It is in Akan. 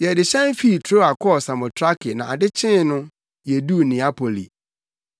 Yɛde hyɛn fii Troa kɔɔ Samotrake na ade kyee no, yeduu Neapoli.